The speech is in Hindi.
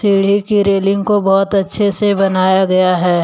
सीढ़ी की रेलिंग को बहोत अच्छे से बनाया गया है।